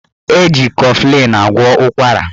Eji kọflịn agwọ ụkwara